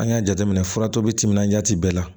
An y'a jateminɛ furato bɛ timinandiya ti bɛɛ la